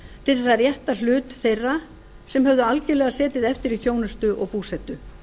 til þess að rétta hlut þeirra sem höfðu algjörlega setið eftir í þjónustu og búsetu